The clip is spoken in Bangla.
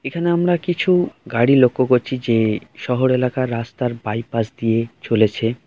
এখানে আমরা কিছু গাড়ি লক্ষ্য করছি যেশহর এলাকার রাস্তার বাইপাস দিয়ে চলেছে।